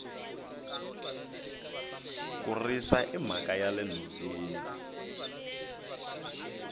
ku risa i mhaka yale nhoveni